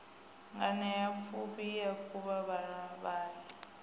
nganeapfufhi i a kunga vhavhali